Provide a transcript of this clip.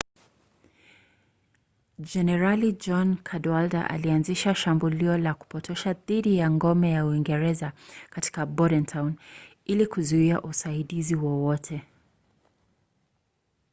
jenerali john cadwalder alianzisha shambulio la kupotosha dhidi ya ngome ya uingereza katika bordentown ili kuzuia usaidizi wowote